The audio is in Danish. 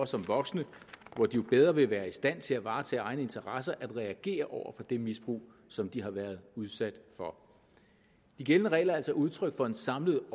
som voksne hvor de jo bedre vil være i stand til at varetage egne interesser at reagere over for det misbrug som de har været udsat for de gældende regler er altså udtryk for en samlet